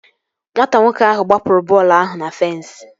Nwata nwoke ahụ gbapụrụ bọọlụ ahụ na fensi